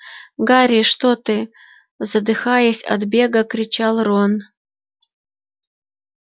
гарри что ты задыхаясь от бега кричал рон